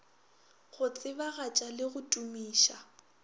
go tsebagatša le go tumiša